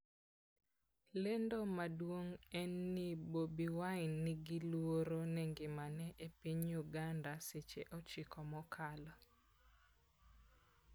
lendo maduong' en ni Bobi Wine 'ni gi luoro ne ngimane' e piny Uganda seche 9 mokalo